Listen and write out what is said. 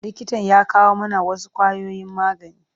Likitan ya kawo mana wasu ƙwayoyin magani.